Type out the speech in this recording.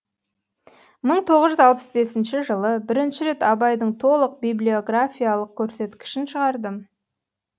мың тоғыз жүз алпыс бесінші жылы бірінші рет абайдың толық библиографиялық көрсеткішін шығардым